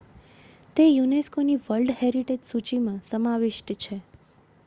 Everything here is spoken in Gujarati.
તે unescoની વર્લ્ડ હેરિટેજ સૂચિમાં સમાવિષ્ટ છે